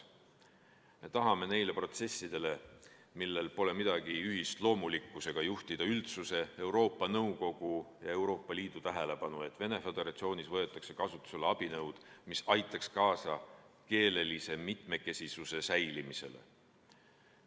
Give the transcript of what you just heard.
Me tahame neile protsessidele, millel pole midagi ühist loomulikkusega, juhtida üldsuse, Euroopa Nõukogu ja Euroopa Liidu tähelepanu, et Venemaa Föderatsioonis võetaks kasutusele abinõud, mis aitaksid kaasa keelelise mitmekesisuse säilimisele.